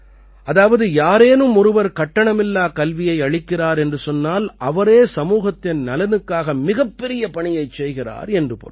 அதாவது யாரேனும் ஒருவர் கட்டணமில்லாக் கல்வியை அளிக்கிறார் என்றால் அவரே சமூகத்தின் நலனுக்காக மிகப்பெரிய பணியைச் செய்கிறார் என்று பொருள்